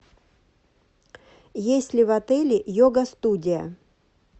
есть ли в отеле йога студия